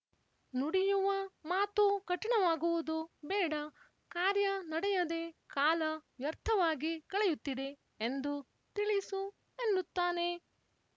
ನುಡಿಯುವ ಮಾತು ಕಠಿಣವಾಗುವುದು ಬೇಡ ಕಾರ್ಯ ನಡೆಯದೆ ಕಾಲ ವ್ಯರ್ಥವಾಗಿ ಕಳೆಯುತ್ತಿದೆ ಎಂದು ತಿಳಿಸು ಎನ್ನುತ್ತಾನೆ